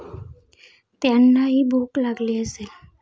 त्यांनाही भूक लागली असेल.